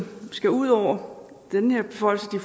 skal ud over den her beføjelse de